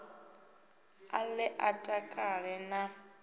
a ḓe a takale na